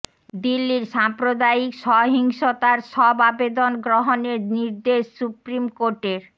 দিল্লির সাম্প্রদায়িক সহিংসতার সব আবেদন গ্রহণের নির্দেশ সুপ্রিম কোর্টের